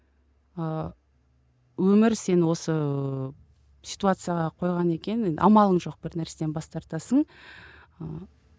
ыыы өмір сені осы ситуацияға қойған екен енді амалың жоқ бір нәрседен бас тартасың ыыы